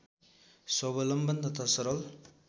स्वालम्बन तथा सरल